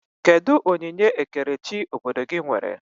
Kedụ onyinye ekerechi obodo gị nwere?